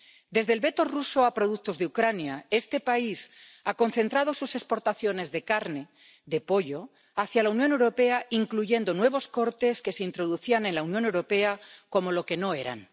Desde el veto ruso a productos de Ucrania, este país ha concentrado sus exportaciones de carne, de pollo, hacia la Unión Europea, incluyendo nuevos cortes que se introducían en la Unión Europea como lo que no eran.